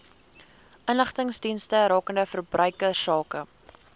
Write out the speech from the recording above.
inligtingsdienste rakende verbruikersake